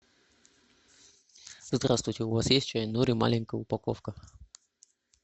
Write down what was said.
здравствуйте у вас есть чай нури маленькая упаковка